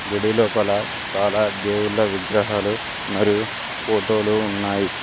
గుడి లోపల చాలా దేవుళ్ల విగ్రహాలు మరియు ఫోటోలు ఉన్నాయి.